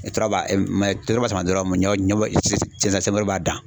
ɲɛ cɛncɛnbɔyɔrɔ b'a dan